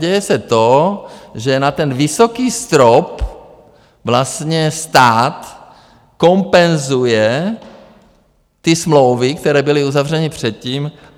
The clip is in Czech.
Děje se to, že na ten vysoký strop vlastně stát kompenzuje ty smlouvy, které byly uzavřeny předtím.